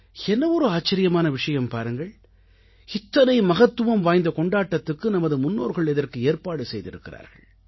என்ன ஒரு ஆச்சரியமான விஷயம் பாருங்கள் இத்தனை மகத்துவம் வாய்ந்த கொண்டாட்டத்துக்கு நமது முன்னோர்கள் இதற்கு ஏற்பாடு செய்திருக்கிறார்கள்